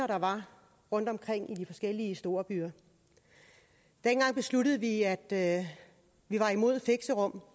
der var rundtomkring i de forskellige storbyer dengang besluttede vi at at vi var imod fixerum